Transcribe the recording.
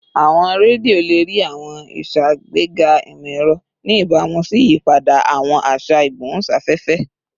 Awọn redio le rii awọn iṣagbega imọ-ẹrọ, ni ibamu si iyipada awọn aṣa igbohunsafefe